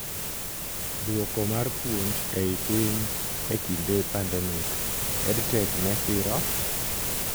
Duoko mar puonj eei piny ee kinde pandemic:EdTech ne siro?